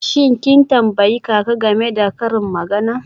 Shin kin tambayi kaka game da karin magana?